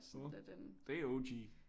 Åh det er O G